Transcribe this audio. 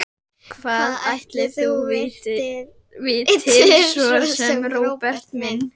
Hvað ætli þú vitir svo sem, Róbert minn?